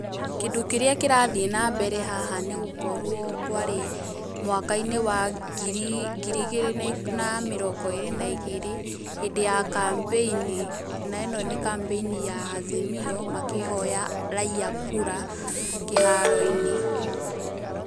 Kĩndũ kĩrĩa kĩrathiĩ na mbere haha nĩgũkorwo kwarĩ mwaka-inĩ wa ngiri ngiri igĩrĩ na mĩrongo ĩgĩrĩ na igĩrĩ hĩndĩ ya kampeni. Na ĩ no nĩ kampeni ya Azimio makĩhoya raiya kura kĩharo-inĩ.